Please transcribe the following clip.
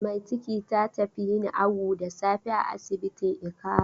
Mai ciki ta tafi yin awu da safe a asibitin Ikara.